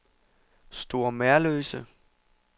Store Merløse